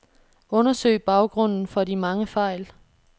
Undersøg baggrunden for de mange fejl.